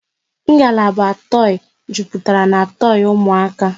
Ngalaba toi jupụtara n'toi ụmụaka